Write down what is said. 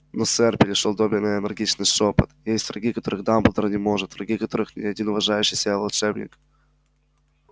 но сэр перешёл добби на энергичный шёпот есть враги которых дамблдор не может враги которых ни один уважающий себя волшебник